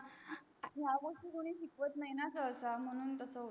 ह्य़ा गोष्टी कोणी शिकवत नाही न तसा म्हणून तस होते